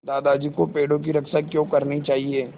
दादाजी को पेड़ों की रक्षा क्यों करनी चाहिए